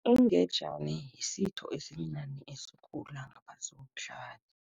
Ingejani yisitho esimnandi esikhula ngaphasi komhlabathi.